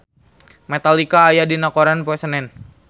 Metallica aya dina koran poe Senen